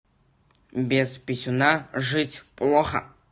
без писюна жить плохо